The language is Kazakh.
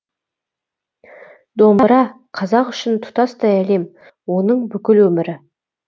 домбыра қазақ үшін тұтастай әлем оның бүкіл өмірі